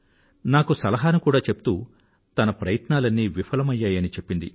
నాకు సలహాను కూడా చెప్తూ తన ప్రయత్నాలన్నీ విఫలమయ్యాయని చెప్పింది